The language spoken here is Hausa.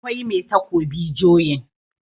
akwai Mai takobi joyin